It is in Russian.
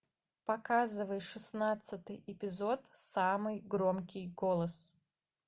показывай шестнадцатый эпизод самый громкий голос